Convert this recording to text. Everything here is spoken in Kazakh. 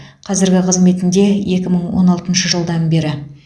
қазіргі қызметінде екі мың он алтыншы жылдан бері